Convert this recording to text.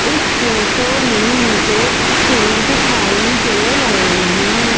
इस फोटो में मुझे पेड़ दिखाई दे रहे है।